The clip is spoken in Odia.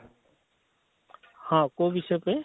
ହଁ କୋଉ ବିଷୟ ପାଇଁ?